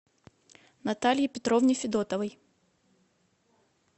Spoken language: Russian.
наталье петровне федотовой